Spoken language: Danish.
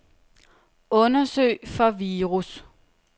Undersøg for virus.